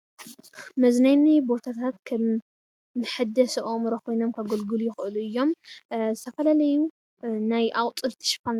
መዝናነይ ቦታታት ከም መሐደሲ ኣእምሮ ኮይኖም ከገልግሉ ይኽእሉ እዮም፡፡ ዝተፈላለዩ ናይ ኣቑፅልቲ ሽፋን